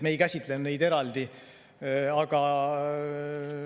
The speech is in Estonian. Me ei käsitlenud neid ettepanekuid eraldi.